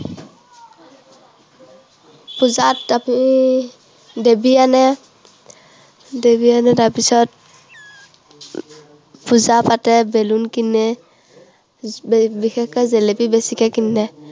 পূজাত ইয়াতে দেৱী আনে। দেৱী আনি তাৰপিছত পূজা পাতে, balloon কিনে। বিশেষকৈ জেলেপী বেছিকৈ কিনে।